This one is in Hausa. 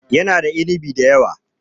Yana da inibi da yawa.